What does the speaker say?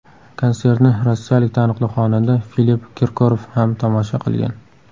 Konsertni rossiyalik taniqli xonanda Filipp Kirkorov ham tomosha qilgan.